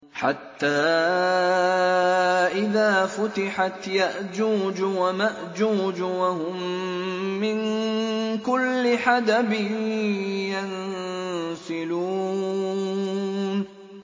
حَتَّىٰ إِذَا فُتِحَتْ يَأْجُوجُ وَمَأْجُوجُ وَهُم مِّن كُلِّ حَدَبٍ يَنسِلُونَ